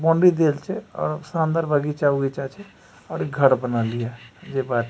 boundary देइल छिये और उसके अंदर बगीचा-उगीचा छै और घर बनल हिय जे --